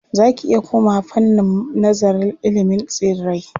Za ki iya komawa fannin nazararil ilimin tsirrai.